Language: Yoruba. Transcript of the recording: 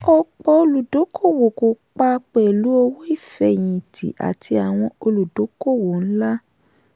ọ̀pọ̀ olùdókòwò kó pa pẹ̀lú owó ìfẹ̀yìntì àti àwọn olùdókòwò ńlá.